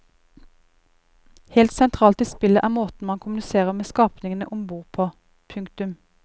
Helt sentralt i spillet er måten man kommuniserer med skapningene om bord på. punktum